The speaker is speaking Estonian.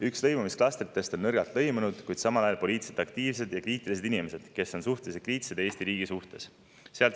Üks lõimumisklastritest on nõrgalt lõimunud, kuid samal ajal poliitiliselt aktiivsed inimesed, kes on suhteliselt kriitilised Eesti riigi suhtes.